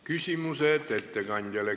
Küsimused ettekandjale.